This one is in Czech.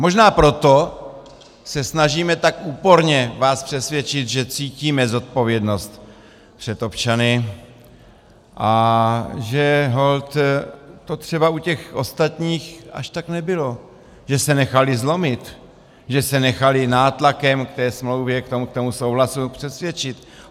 Možná proto se snažíme tak úporně vás přesvědčit, že cítíme zodpovědnost před občany a že holt to třeba u těch ostatních až tak nebylo, že se nechali zlomit, že se nechali nátlakem k té smlouvě, k tomu souhlasu, přesvědčit.